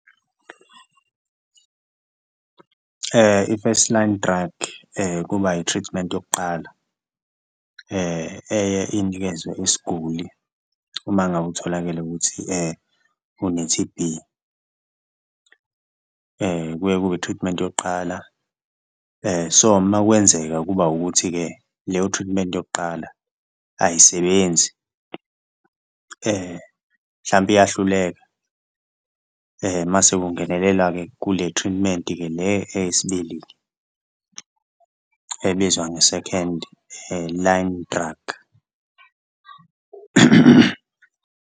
I-first line drug kuba i-treatment yokuqala eye inikezwe isiguli uma ngabe utholakele ukuthi une-T_B, kuye kube i-treatment yokuqala so uma kwenzeka kuba ukuthi-ke leyo treatment yokuqala ayisebenzi mhlampe iyahluleka. Mase kungenelela-ke kule treatment-ke le eyesibili ebizwa nge-second line drug.